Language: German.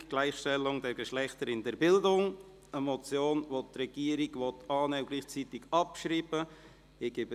«Gleichstellung der Geschlechter in der Bildung», eine Motion, die die Regierung annehmen und gleichzeitig abschreiben will.